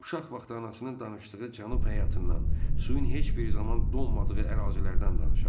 Uşaq vaxtı anasının danışdığı cənub həyatından, suyun heç bir zaman donmadığı ərazilərdən danışardı.